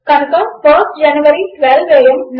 కనుక IST January 12 AM